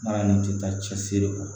N'a ni tɛ taa cɛsiri kɔ